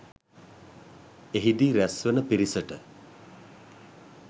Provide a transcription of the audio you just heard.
එහිදී රැස් වන පිරිසට